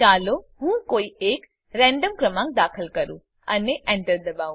ચાલો હું કોઈ એક રેન્ડમ ક્રમાંક દાખલ કરું અને Enter દબાવું